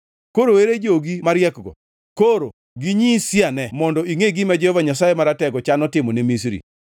Koro ere jogi mariekgo? Koro ginyisiane mondo ingʼe gima Jehova Nyasaye Maratego chano timo ne Misri.